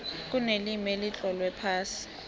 kunelimi elitlolwe phasi